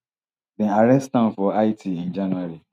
dem arrest am for haiti in january